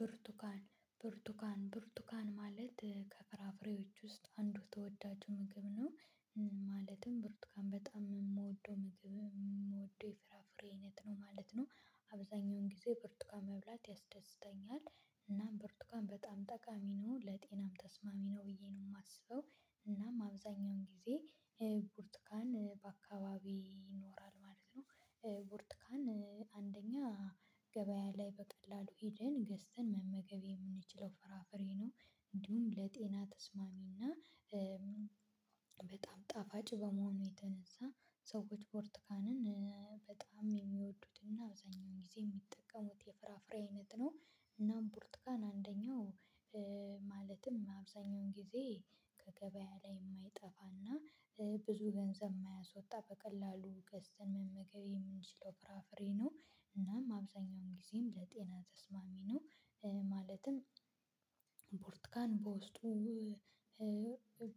ብርቱካን ብርቱካን ብርቱካን ማለት ከፍራፍሬዎች ውስጥ አንዱ ተወዳጅ ምግብ ነው ማለትም ብሩትካን በጣም የምወደው ምግብ የምወደው የፍራፍሬ አይነት ነው ማለት ነው። አብዛኛውን ጊዜ ብርቱካን መብላት ያስደስተኛል። እና ብርቱካን በጣም ጠቃሚ ነው ለጤናም ተስማሚ ነው ብዬ ነው የማስበው። እናም አብዛኛውን ጊዜ ብርቱካን በአካባቢዬ ይኖራል ማለት ነው። ብርቱካን አንደኛ ገበያ ላይ በቀላሉ ሂደን ገዝተን መመገብ የምንችለው ፍራፍሬ ነው። እንዲሁም ለጤና ተስማሚ እና። በጣም ጣፋጭ በመሆኑ የተነሳ ሰዎች ብርቱካንን በጣም የሚወዱት እና አብዛኛውን ጊዜ የሚጠቀሙት የፍራፍሬ አይነት ነው። እና ብርቱካን አንደኛው ማለትም አብዛኛውን ጊዜ ከገበያ ላይ የማይጠፋና። ብዙ ገንዘብ የማያስወጣ በቀላሉ ገስተን መመገብ የምንችለው ፍራፍሬ ነው። እናም አብዛኛውን ጊዜም ለጤና ተስማሚ ነው። ማለትም ቡርቱካን በውስጡ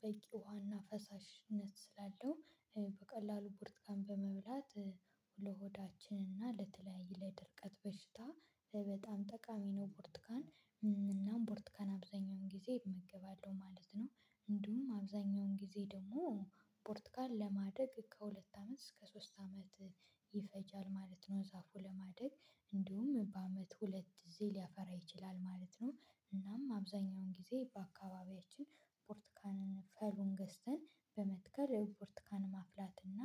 በቂ ውሃና ፈሳሽነት ስላለው በቀላሉ ቡርቱካን በመብላት። ለሆዳችንና ለተለያየ ለድርቀት በሽታ በጣም ጠቃሚ ነው ብርቱካን። እናም ቡርቱካን አብዛኛውን ጊዜ እመገባለሁ ማለት ነው። እንዲሁም አብዛኛውን ጊዜ ደግሞ ቡርቱካን ለማደግ ከሁለት አመት እስከ ሶስት አመት ይፈጃል ማለት ነው። ዛፉ ለማደግ እንዲሁም በአመት ሁለት ጊዜ ሊያፈራ ይችላል ማለት ነው። እናም አብዛኛውን ጊዜ በአካባቢያችን ቡርቱካንን ፈሉን ገዝተን በመትከል ብርቱካንን ማፍላት እና።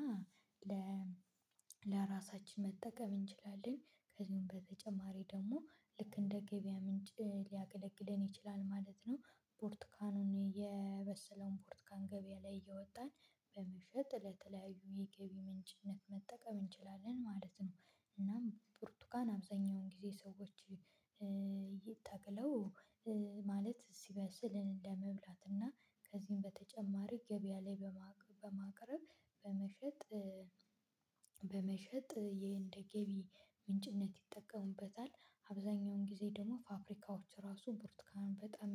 ለራሳችን መጠቀም እንችላለን ከዚህም በተጨማሪ ደግሞ ልክ እንደ ገበያ ምንጭ ሊያገለግለን ይችላል ማለት ነው። ቡርቱካኑን የበሰለውን ቡርቱካን ገበያ ላይ እያወጣን በመሸጥ ለተለያዩ የገቢ ምንጭነት መጠቀም እንችላለን ማለት ነው። እናም ቡርቱካን አብዛኛውን ጊዜ ሰዎች እየታገለው ማለት ሲበስል እንደመብላት እና ከዚህም በተጨማሪ ገበያ ላይ በማቅረብ በመሸጥ። በመሸጥ ይሄ እንደ ገቢ ምንጭነት ይጠቀሙበታል። አብዛኛውን ጊዜ ደግሞ ፋብሪካዎች ራሱ ቡርትካን በጣም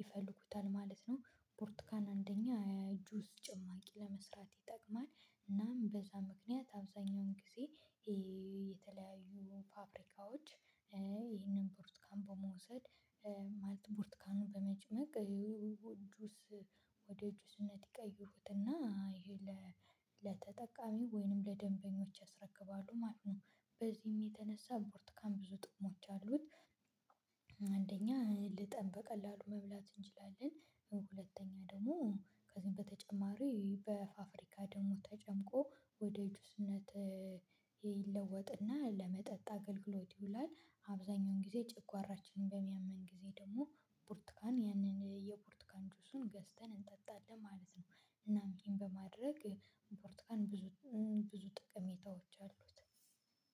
ይፈልጉታል ማለት ነው። ቡርቱካን አንደኛ የጁዝ ጭማቂ ለመስራት ይጠቅማል። እናም በዛ ምክንያት አብዛኛውን ጊዜ። የተለያዩ ፋብሪካዎች ይህንን ቡርቱካን በመውሰድ ማለት ቡርቱካኑን በመጭመቅ። ወደ ጁስነት ይቀይሩትና ይሄ ለተጠቃሚ ወይንም ለደንበኞች ያስረክባሉ ማለት ነው። በዚህም የተነሳ ቡርቱካን ብዙ ጥቅሞች አሉት። አንደኛ ልጠን በቀላሉ መብላት እንችላለን። ሁለተኛ ደግሞ ከዚህም በተጨማሪ በፋብሪካ ደግሞ ተጨምቆ ወደ ጁስነት። ይለወጥና ለመጠጥ አገልግሎት ይውላል አብዛኛውን ጊዜ ጨጓራችንን በሚያመን ጊዜ ደግሞ ቡርቱካን ያንን የቡርቱካን ጆሱን ገዝተን እንጠጣለን ማለት ነው። እናም ይሄን በማድረግ ቡርቱካን ብዙ ብዙ ጠቀሜታዎች አሉት።